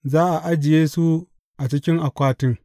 Za a ajiye su a cikin akwatin.